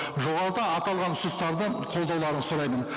жоғарыда аталған ұсыныстарды қолдауларыңызды сұраймын